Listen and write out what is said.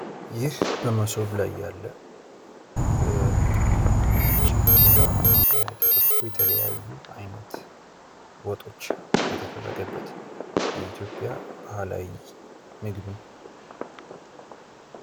ይህ በምስሉ ላይ ያለ በቀይ እና ነጭ እንጀራ ተድረጎ የተለያዩ አይነት ወጦች የተደረገበት የኢትዮጵያ ባህላዊ ምግብ ነው።